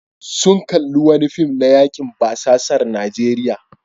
Sun kalli wani fim na yakin basasar Najeriya.